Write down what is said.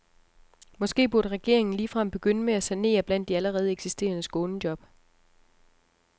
Måske burde regeringen ligefrem begynde med at sanere blandt de allerede eksisterende skånejob.